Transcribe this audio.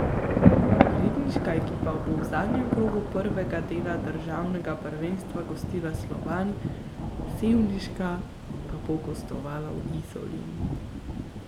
Ribniška ekipa bo v zadnjem krogu prvega dela državnega prvenstva gostila Slovan, sevniška pa bo gostovala v Izoli.